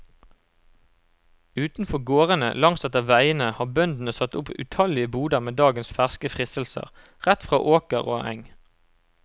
Utenfor gårdene langsetter veiene har bøndene satt opp utallige boder med dagens ferske fristelser, rett fra åker og eng.